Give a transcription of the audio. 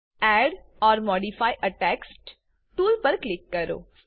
add or modify a text tool પર click કરો